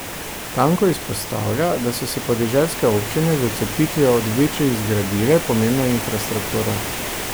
Tanko izpostavlja, da so si podeželske občine z odcepitvijo od večjih zgradile pomembno infrastrukturo.